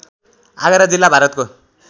आगरा जिल्ला भारतको